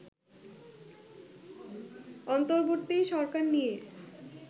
অন্তর্বর্তী সরকার নিয়ে